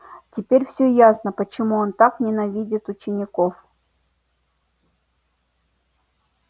теперь все ясно почему он так ненавидит учеников